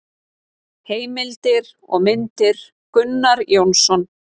Heimildir og myndir: Gunnar Jónsson.